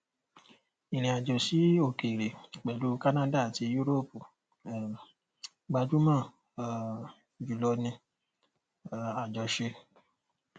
ìrìnàjò sí òkèèrè pẹlú canada àti yúróòpù um gbajúmọ um jùlọ ní um àjọṣe